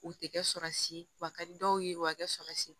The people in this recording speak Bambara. U tɛ kɛ samasi wa ka di dɔw ye u bɛ kɛ samasi